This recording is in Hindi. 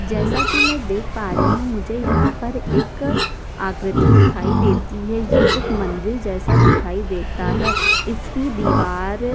जैसा की मै देख पा रही हु मुझे यहाँ पर एक आकृति दिखाई देती है यह एक मंदिर जैसा दिखाई देता है इसकी दीवार --